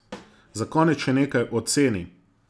Za konec še nekaj o ceni.